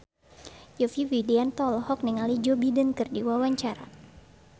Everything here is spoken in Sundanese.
Yovie Widianto olohok ningali Joe Biden keur diwawancara